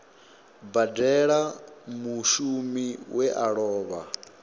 badela mushumi we a lova